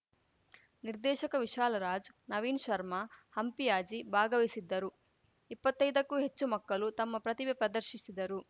ನಿರ್ದೆಶಕ ವಿಶಾಲರಾಜ್‌ ನವೀನ್‌ ಶರ್ಮಾ ಹಂಪಿಯಾಜಿ ಭಾಗವಹಿಸಿದ್ದರು ಇಪ್ಪತ್ತೈದಕ್ಕೂ ಹೆಚ್ಚು ಮಕ್ಕಳು ತಮ್ಮ ಪ್ರತಿಭೆ ಪ್ರದರ್ಶಿಸಿದರು